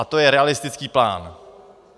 A to je realistický plán.